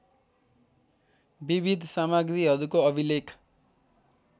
विविध सामग्रीहरूको अभिलेख